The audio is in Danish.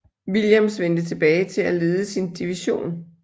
Williams vendte tilbage til at lede sin division